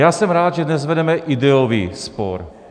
Já jsem rád, že dnes vedeme ideový spor.